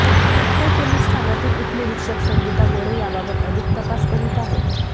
Wakad police ठाण्यातील उपनिरीक्षक संगीता गोडे याबाबत अधिक तपास करीत आहेत